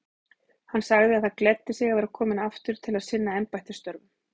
Hann sagði það gleddi sig að vera kominn aftur til að sinna embættisstörfum.